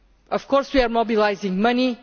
Of course we are mobilising money.